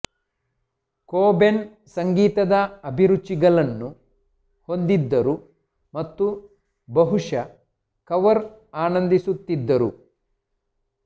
Cobain ಸಂಗೀತದ ಅಭಿರುಚಿಗಳನ್ನು ಹೊಂದಿದ್ದರು ಮತ್ತು ಬಹುಶಃ ಕವರ್ ಆನಂದಿಸಿರುತ್ತಿದ್ದರು